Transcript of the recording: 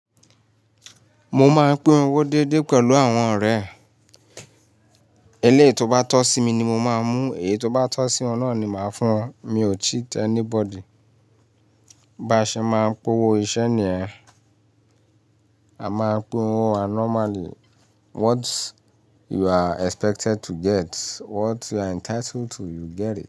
Mo máa ń pé owó dédé pẹ̀lú àwọn ọ̀rẹ́. Eléyìí tó bá tọ́ sí mi ni mo máa mú, èyí tó bá tọ́ sí wọn náà ni màá fún wọn. Mi ò cheat anybody. Baṣe máa ń pé owó iṣẹ́ nìyẹn. A máa pín owó wa nomaly. What you are expected to get, what you are entitled to, you get it.